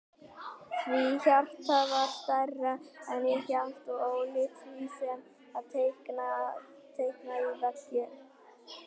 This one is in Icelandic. Því hjartað var stærra en ég hélt og ólíkt því sem er teiknað á veggi.